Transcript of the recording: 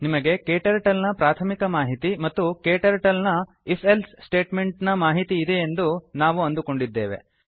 ನಿಮಗೆ ಕ್ಟರ್ಟಲ್ ನ ಪ್ರಾಥಮಿಕ ಮಾಹಿತಿ ಮತ್ತು Kturtleನ if ಎಲ್ಸೆ ಸ್ಟೇಟ್ ಮೆಂಟ್ ನ ಮಾಹಿತಿ ಇದೆಯೆಂದು ನಾವು ಅಂದುಕೊಂಡಿದ್ದೇವೆ